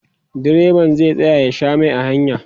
direban zai tsaya ya Sha Mai a hanya